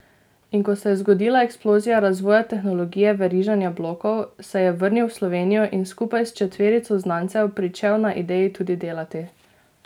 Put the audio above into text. In ko se je zgodila eksplozija razvoja tehnologije veriženja blokov, se je vrnil v Slovenijo in skupaj s četverico znancev pričel na ideji tudi delati.